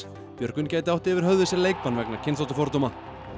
Björgvin gæti átt yfir höfði sér leikbann vegna kynþáttafordóma